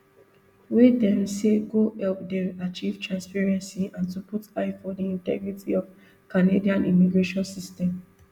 wey dem say go help dem achieve transparency and to put eye for di integrity of canada immigration system